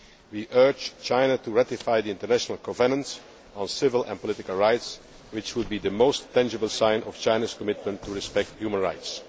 human rights. We urge China to ratify the International Covenant on Civil and Political Rights, which would be the most tangible sign of China's commitment to respecting